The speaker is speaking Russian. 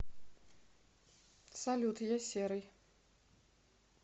салют я серый